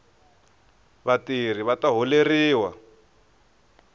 vatirhi vata holeriwa